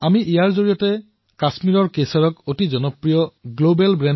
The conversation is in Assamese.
ইয়াৰ জৰিয়তে আমি কাশ্মীৰি কেশৰক এক বিশ্বজনীন জনপ্ৰিয় ব্ৰেণ্ড কৰি তুলিব বিচাৰিছো